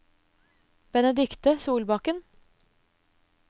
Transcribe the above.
Benedicte Solbakken